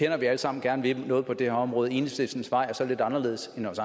at vi alle sammen gerne vil noget på det her område men at enhedslistens vej så er lidt anderledes end vores